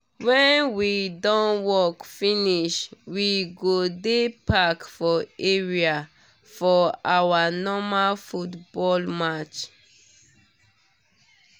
when we don work finish we go di park for area for our normal football match